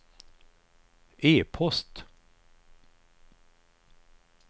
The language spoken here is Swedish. e-post